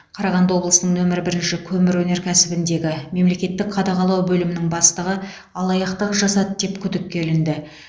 қарағанды облысының нөмір бірінші көмір өнеркәсібіндегі мемлекеттік қадағалау бөлімінің бастығы алаяқтық жасады деп күдікке ілінді